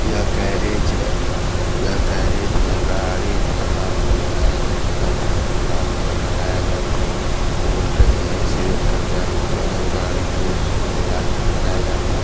यह गेरेज है यह गेरेज में गाड़ी खराब हो जाया जाता है तो लाके यहाँ बनाया जाता है और कहीं एक्सीडेंट कर जाता है गाड़ी तो उसको भी लाके यहाँ बनाया जाता है |